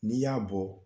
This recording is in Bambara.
N'i y'a bɔ